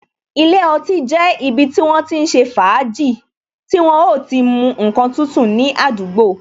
Ilé ọtí jẹ́ ibi tí wọ́n ti ń ṣe fàájì, tí wọ́n o ti mu ǹkan tútù ní àdúgbò.